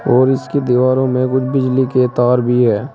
और इसकी दीवारों में कुछ बिजली के तार भी है।